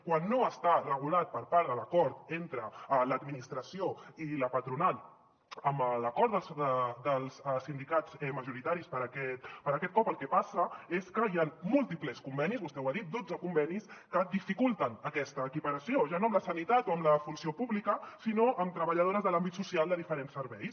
quan no està regulat per part de l’acord entre l’administració i la patronal amb l’acord dels sindicats majoritaris per aquest cop el que passa és que hi han múltiples convenis vostè ho ha dit dotze convenis que dificulten aquesta equiparació ja no amb la sanitat o amb la funció pública sinó amb treballadores de l’àmbit social de diferents serveis